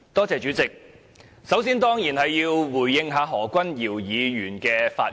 主席，首先，我當然要回應何君堯議員的發言。